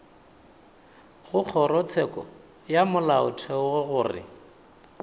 go kgorotsheko ya molaotheo gore